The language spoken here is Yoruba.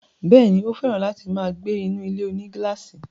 Bẹ́ẹ̀ni, ó fẹ̀ràn láti máa gbé inú ilé-onígílàsì